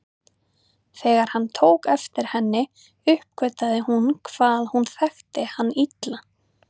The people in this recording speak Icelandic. Þegar hann tók eftir henni uppgötvaði hún hvað hún þekkti hann illa.